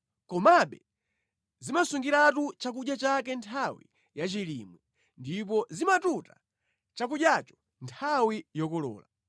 komabe zimasungiratu chakudya chake nthawi ya chilimwe ndipo zimatuta chakudyacho nthawi yokolola.